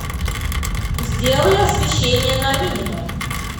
сделай освещение на минимум